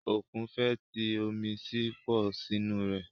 Òkun fẹ̀ tí omi sì pọ̀ nínú rẹ̀.